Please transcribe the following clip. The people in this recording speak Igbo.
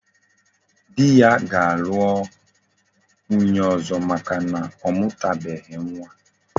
Di ya ga alu nwunye ozo maka na omutabeghi nwa